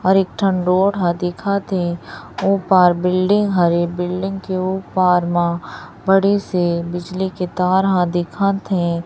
और एक ठन रोड ह दिखत हे ओ पार बिल्डिंग हरे बिल्डिंग के ओ पार म बड़े से बिजली के तार ह दिखत हे।